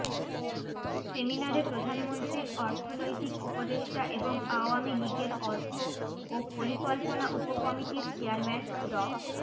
সেমিনারে প্রধানমন্ত্রীর অর্থনৈতিক উপদেষ্টা এবং আওয়ামী লীগের অর্থ ও পরিকল্পনা উপকমিটির চেয়ারম্যান ড